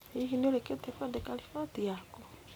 Hihi nĩ ũrĩkĩtie kwandĩka riboti yaku?